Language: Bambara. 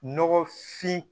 Nɔgɔfin